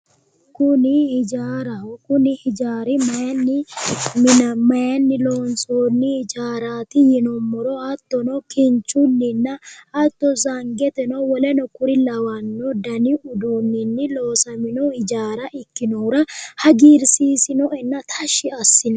Kuni hijaaraho, kuni hijaari maayinni loonsoni hijaarati yinnuummoro hattono kinchuninna hattono sangeteno woleno kuri lawano danni uduunini loosamino hijaara ikkinohura hagiirsiisinoenna tashshi assinoe.